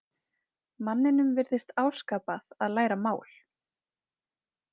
Manninum virðist áskapað að læra mál.